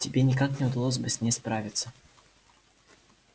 тебе никак не удалось бы с ней справиться